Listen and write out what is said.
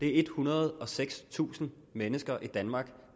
er ethundrede og sekstusind mennesker i danmark